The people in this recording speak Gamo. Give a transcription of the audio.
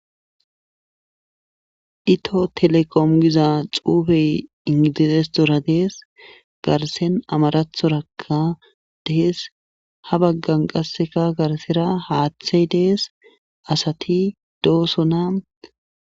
dito telekom giza xuufey ingidizesdora dees garsen amarathorakka dees ha baggan qasseka garsira haaththey dees asati doosona